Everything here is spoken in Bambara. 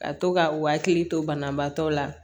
Ka to ka u hakili to banabaatɔ la